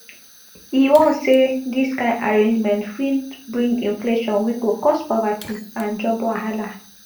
e warn say dis kain arrangement fit bring inflation wey go cause poverty and job wahala